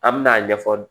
An bɛna a ɲɛfɔ